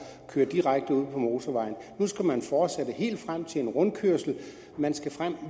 og køre direkte ud på motorvejen nu skal man fortsætte helt frem til en rundkørsel